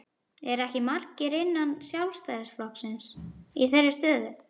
Eru ekki margir innan Sjálfstæðisflokksins í þeirri stöðu?